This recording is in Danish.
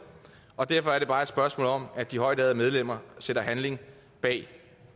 og derfor er det bare et spørgsmål om at de højtærede medlemmer sætter handling bag